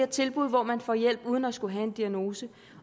tilbud hvor man får hjælp uden at skulle have en diagnose